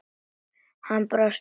Hann brosti út í annað.